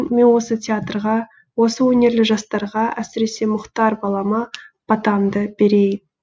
мен осы театрға осы өнерлі жастарға әсіресе мұхтар балама батамды берейін